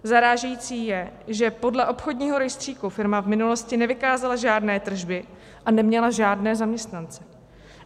Zarážející je, že podle obchodního rejstříku firma v minulosti nevykázala žádné tržby a neměla žádné zaměstnance.